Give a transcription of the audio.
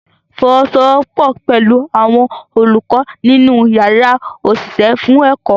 Fọwọ́sowọ́pọ̀ pẹ̀lú àwọn olùkọ́ nínú yàrá òṣìṣẹ́ fún ẹ̀kọ́